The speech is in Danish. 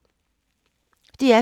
DR P2